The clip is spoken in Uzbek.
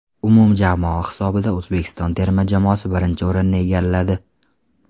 Umumjamoa hisobida O‘zbekiston terma jamoasi birinchi o‘rinni egalladi.